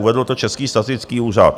Uvedl to Český statický úřad.